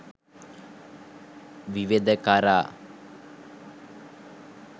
විවද කරා